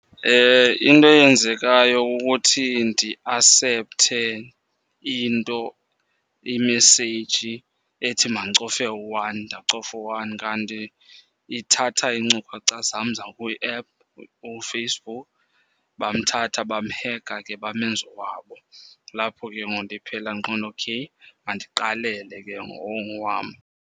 Into eyenzekayo kukuthi ndi-asepthe into, imeseyiji ethi mandicofe u-one, ndacofa u-one kanti ithatha iincukhacha zam zakwi-app uFacebook. Bamthatha bamhekha ke bamenza owabo. Kulapho ke ngoku ndiphela ndiqonda okay mandiqalele ke ngoku ongowam.